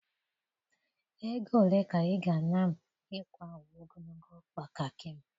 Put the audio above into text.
Ego ole ka ị ga-ana m ịkwa uwe ogologo ọkpa Kakị m?